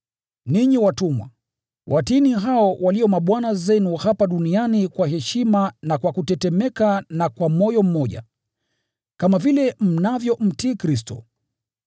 Ninyi watumwa, watiini hao walio mabwana zenu hapa duniani kwa heshima na kwa kutetemeka na kwa moyo mmoja, kama vile mnavyomtii Kristo.